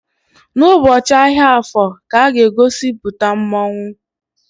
N'ụbọchị ahịa Afor ka a ga-egosipụta mmonwu.